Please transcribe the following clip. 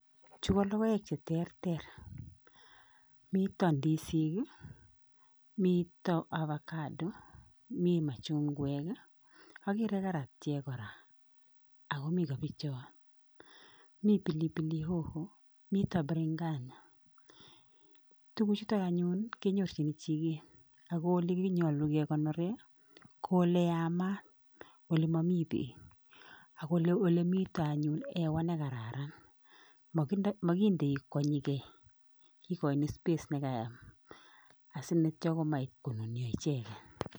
Chu ko logoek che terter, mitten ndisik I,miten avocado, mi machungwek I ak ageere karatiek kora, ak komiten kabichek, mii pilipili hoho, mitten biringanya, tuguchuton anyun kenyorchin chiket, ako olenyolu kekonooren KO oleyaamat olemomi beek, akole mitten anyun hewa nekararan